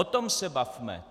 O tom se bavme.